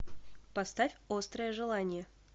поставь острое желание